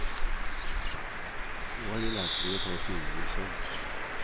Nå har jeg lært meg å ta styringen selv.